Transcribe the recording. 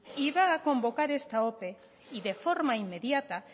y va a convocar esta ope y de forma inmediata